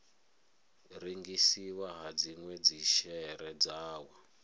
rengisiwa ha dzinwe dzishere dzawo